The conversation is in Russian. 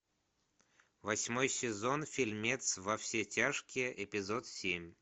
восьмой сезон фильмец во все тяжкие эпизод семь